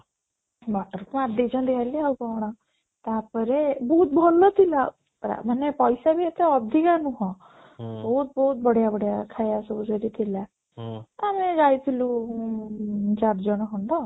ମଟର ଦେଇଛନ୍ତି ଖାଲି ଆଉ କ'ଣ ତାପରେ ବହୁତ ଭଲ ଥିଲା ମାନେ ପଇସା ବି ଏତେ ଅଧିକ ନୁହଁ ବହୁତ ବହୁତ ବଢିଆ ବଢିଆ ଖାଇବା ସବୁ ଥିଲା ଆରେ ଯାଇଥିଲୁ ଉଁ ଚାରିଜଣ ଖଣ୍ଡ